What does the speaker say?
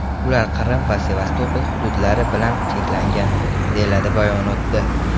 Ular Qrim va Sevastopol hududlari bilan cheklangan”, deyiladi bayonotda.